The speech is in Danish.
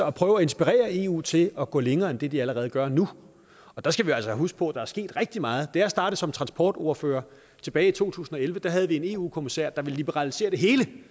og prøver at inspirere i eu til at gå længere end det de allerede gør nu der skal vi altså huske på at der er sket rigtig meget da jeg startede som transportordfører tilbage i to tusind og elleve havde vi en eu kommissær der ville liberalisere det hele det